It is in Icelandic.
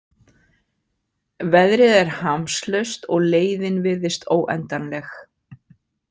Veðrið er hamslaust og leiðin virðist óendanleg.